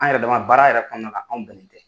An yɛrɛ dama baara yɛrɛ kɔnɔna la ka anw dalen tɛ